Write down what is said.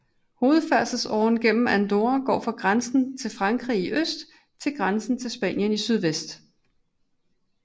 Hovedfærdselsåren gennem Andorra går fra grænsen til Frankrig i øst til grænsen til Spanien i sydvest